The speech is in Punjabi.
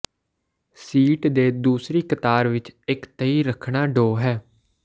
ਸੀਟ ਦੇ ਦੂਸਰੀ ਕਤਾਰ ਵਿੱਚ ਇੱਕ ਤਹਿ ਕਰਣਾ ਢੋਹ ਹੈ